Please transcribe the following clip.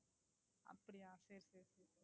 அப்படியா சரி சரி.